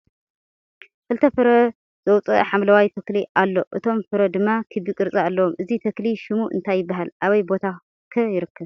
ክልተ ፍረ ዝውፅአ ሓምለዋይ ተክሊ ኣሎ እቶም ፍረ ድማ ክቢ ቅርፂ ኣለዎም ። እዚ ተክሊ ሹሙ እንታይ ይበሃል ኣበይ ቦታ ከ ይርከብ ?